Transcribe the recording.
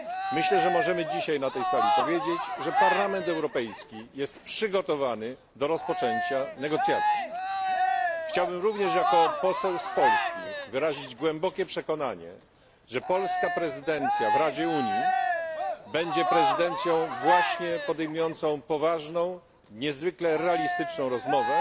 Myślę, że możemy dzisiaj na tej sali powiedzieć, że Parlament Europejski jest przygotowany do rozpoczęcia negocjacji. Chciałbym również jako poseł z Polski wyrazić głębokie przekonanie, że polska prezydencja w Radzie Unii będzie prezydencją właśnie podejmującą poważną, niezwykle realistyczną rozmowę,